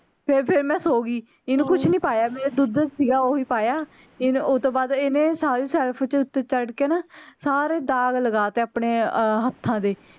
ਫੇਰ ਫੇਰ ਮੈਂ ਸੋ ਗਈ ਇਹਨੂੰ ਕੁੱਛ ਨੀ ਪਾਇਆ ਜਿਹੜਾ ਦੁੱਧ ਸੀਗਾ ਓਹੀ ਪਾਇਆ ਇਹਨ ਓਹਤੋਂ ਬਾਅਦ ਇਹਨੇ ਸਾਰੀ ਸ਼ੈਲਫ ਦੇ ਉੱਤੇ ਚੜ ਕੇ ਨਾ ਸਾਰੇ ਦਾਗ ਲਗਾ ਤੇ ਆਪਣੇ ਹੱਥਾਂ ਦੇ